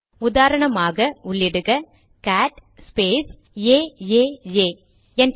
உதாரணமாக உள்ளிக cat space AAA enter